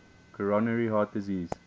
coronary heart disease